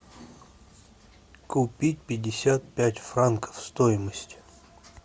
купить пятьдесят пять франков стоимость